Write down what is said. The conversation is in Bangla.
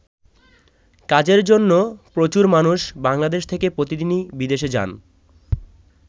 কাজের জন্য প্রচুর মানুষ বাংলাদেশ থেকে প্রতিদিনই বিদেশে যান।